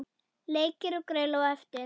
Leikir og grill á eftir.